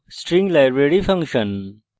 string library function